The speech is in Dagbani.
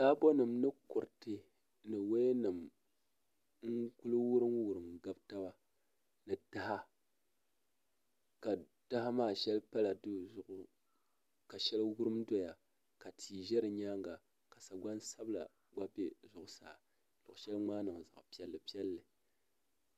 Taabo nim ni kuriti ni woya nim n wurim wurim gabi taba ni taha taha maa shɛli pala duu zuɣu ka shɛli wurim doya ka tia ʒɛ di nyaanga ka sagbani sabila gba bɛ zuɣusaa luɣu shɛli ŋmaa niŋ zaɣ piɛlli piɛlli